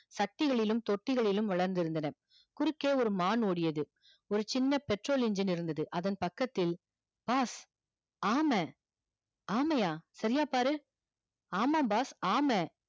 சட்டிகளிலும் தொட்டிகளிலும் வளர்ந்து இருந்தன குருக்கே ஒரு மான் ஓடியது ஒரு சின்ன petrol engine இருந்தது அதன் பக்கத்தில் boss ஆம ஆமையா சரியா பாரு ஆமா boss ஆம